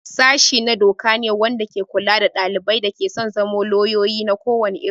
Sashi na doka ne wanda ke kula da ɗalibai da ke son zama lauyoyi na ko wani iri.